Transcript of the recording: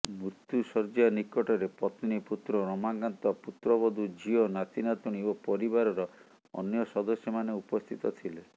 ମୃତ୍ୟୁଶଯ୍ୟା ନିକଟରେ ପତ୍ନୀ ପୁତ୍ର ରମାକାନ୍ତ ପୂତ୍ରବଧୂ ଝିଅ ନାତିନାତୁଣୀ ଓ ପରିବାରର ଅନ୍ୟ ସଦସ୍ୟମାନେ ଉପସ୍ଥିତ ଥିଲେ